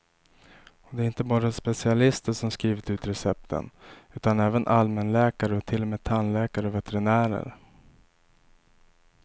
Och det är inte bara specialister som skrivit ut recepten, utan även allmänläkare och till och med tandläkare och veterinärer.